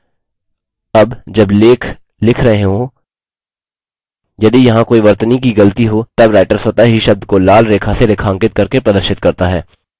अब जब लेख लिख रहे हों यदि यहाँ कोई वर्तनी की गलती हो तब writer स्वतः ही शब्द को लाल रेखा से रेखांकित करके प्रदर्शित करता है